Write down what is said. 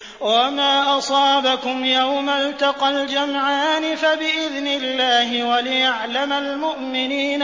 وَمَا أَصَابَكُمْ يَوْمَ الْتَقَى الْجَمْعَانِ فَبِإِذْنِ اللَّهِ وَلِيَعْلَمَ الْمُؤْمِنِينَ